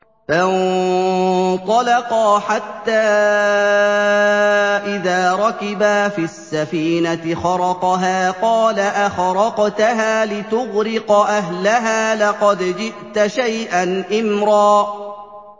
فَانطَلَقَا حَتَّىٰ إِذَا رَكِبَا فِي السَّفِينَةِ خَرَقَهَا ۖ قَالَ أَخَرَقْتَهَا لِتُغْرِقَ أَهْلَهَا لَقَدْ جِئْتَ شَيْئًا إِمْرًا